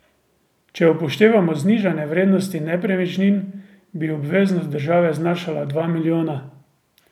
Če upoštevamo znižane vrednosti nepremičnin, bi obveznost države znašala dva milijona.